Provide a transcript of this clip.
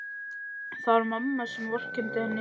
Það var mamma sem vorkenndi henni.